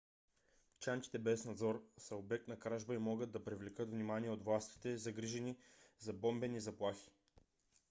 чантите без надзор са обект на кражба и могат да привлекат внимание от властите загрижени за бомбени заплахи